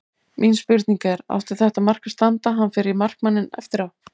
Mín spurning er: Átti þetta mark að standa, hann fer í markmanninn eftir á?